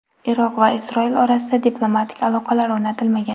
Iroq va Isroil orasida diplomatik aloqalar o‘rnatilmagan.